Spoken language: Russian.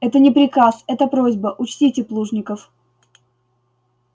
это не приказ это просьба учтите плужников